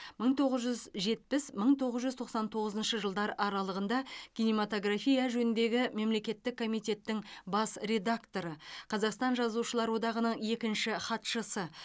мың тоғыз жүз жетпіс мың тоғыз жүз тоқсан тоғызыншы жылдар аралығында кинематография жөніндегі мемлекеттік комитеттің бас редакторы қазақстан жазушылар одағының екінші хатшысы